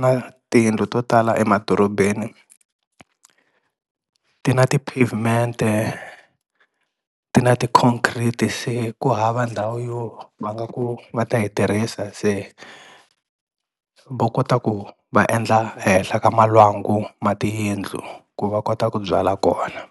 na tiyindlu to tala emadorobeni ti na ti-pavement-e ti na ti-concrete, se ku hava ndhawu yo va nga ku va ta yi tirhisa se va kota ku va endla ehenhla ka malwangu ma tiyindlu ku va kota ku byala kona.